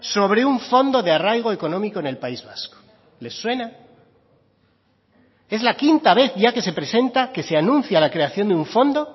sobre un fondo de arraigo económico en el país vasco les suena es la quinta vez ya que se presenta que se anuncia la creación de un fondo